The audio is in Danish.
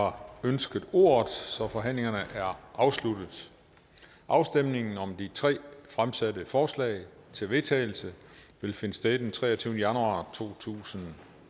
har ønsket ordet så forhandlingen er afsluttet afstemningen om de tre fremsatte forslag til vedtagelse vil finde sted den treogtyvende januar totusinde